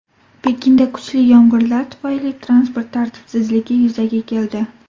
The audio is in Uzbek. Pekinda kuchli yomg‘irlar tufayli transport tartibsizligi yuzaga keldi.